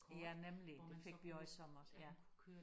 Ja nemlig det fik vi også i sommers ja